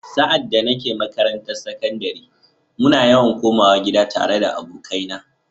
Sa’ad da nake makarantar sakandare, muna yawan komawa gida tare da abokaina.